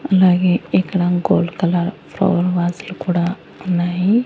అలాగే ఇక్కడ gold colour flower వాసులు కూడా ఉన్నాయి.